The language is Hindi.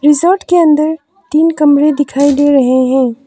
रिजॉर्ट के अंदर तीन कमरे दिखाई दे रहे हैं।